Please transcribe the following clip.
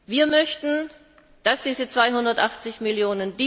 Wir möchten, dass diese 280 Mio.